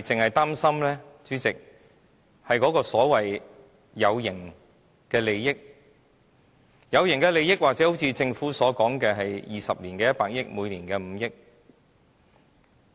只是擔心那些所謂有形利益。所謂有形利益，或許正如政府所說，在20年間收取100億元，每年5億元。